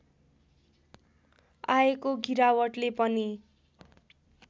आएको गिरावटले पनि